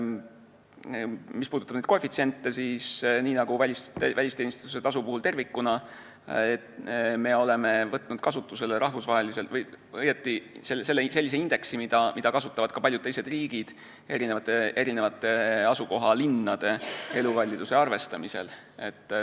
Mis puudutab koefitsiente, siis nii nagu välisteenistuse tasu puhul tervikuna, me oleme võtnud kasutusele rahvusvahelise või õieti sellise indeksi, mida kasutavad paljud teised riigid asukohalinnade elukalliduse arvestamisel.